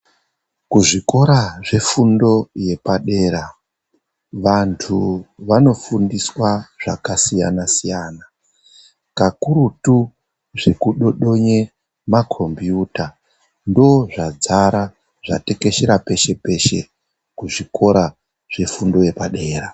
kuzvikora zvefundo yepadera vantu vanofundiswa zvakasiyana-siyana, kakurutu zvekudodonye makombiyuta ndozvadzara zvatekecheta peshe-peshe, kuzvikora zvefundo yepadera.